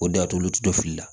O de y'a to olu tɛ to fili la